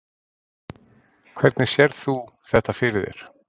Hvernig sérð þú þetta fyrir þér?